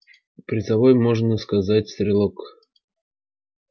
призовой можно сказать стрелок